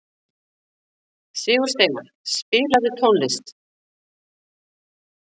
Sigursteina, spilaðu tónlist.